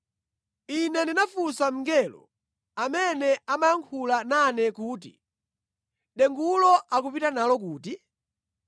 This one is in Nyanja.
Ine ndinafunsa mngelo amene amayankhula nane kuti, “Dengulo akupita nalo kuti?”